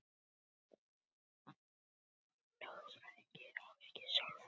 Ég var að fá símtal frá Kalla lögfræðingi.